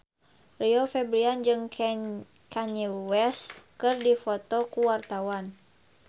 Rio Febrian jeung Kanye West keur dipoto ku wartawan